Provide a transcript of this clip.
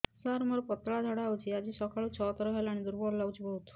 ସାର ମୋର ପତଳା ଝାଡା ହେଉଛି ଆଜି ସକାଳୁ ଛଅ ଥର ହେଲାଣି ଦୁର୍ବଳ ଲାଗୁଚି ବହୁତ